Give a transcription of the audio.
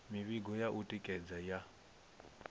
mivhigo ya u tikedza ya